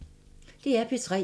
DR P3